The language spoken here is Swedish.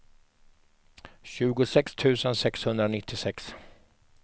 tjugosex tusen sexhundranittiosex